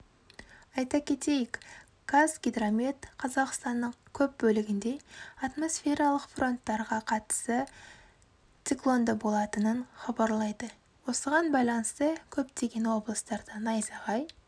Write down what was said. айта кетейік қазгидромет қазақстанның көп бөлігінде атмосфералық фронттарға қатысы циклондыболатынын хабарлайды осыған байланысты көптеген облыстарда найзағай